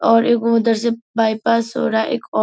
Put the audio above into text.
और एगो उधर से बायपास हो रहा है एक और --